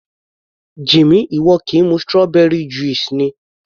Jimmy, ìwọ kì í mu strawberry juice ni?